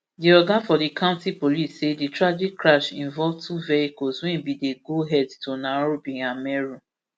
di oga for di county police say di tragic crash involve two vehicles wey bin dey go head to nairobi and meru